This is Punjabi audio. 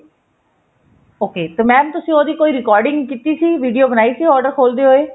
ok ਤੇ mam ਤੁਸੀਂ ਉਹਦੀ ਕੋਈ recording ਕੀਤੀ ਸੀ video ਬਣਾਈ ਸੀ order ਖੋਲਦੇ ਹੋਏ